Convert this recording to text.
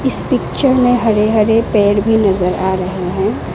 इस पिक्चर में हरे हरे पेड़ भी नजर आ रहे हैं।